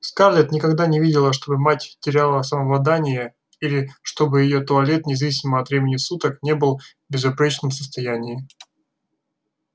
скарлетт никогда не видела чтобы мать теряла самообладание или чтобы её туалет независимо от времени суток не был в безупречном состоянии